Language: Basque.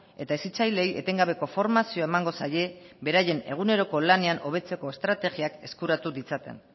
eta hezitzaileei etengabeko formazioa emango zaie beraien eguneroko lanean hobetzeko estrategiak eskuratu ditzaten